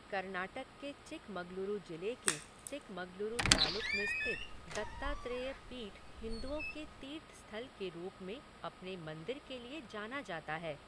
कर्नाटक के चिकमगलुरु जिले के चिकमगलुरु तालुक में स्थित दत्तात्रेय पीठ हिंदुओं के तीर्थ स्थल के रूप में अपने मंदिर के लिए जाना जाता है।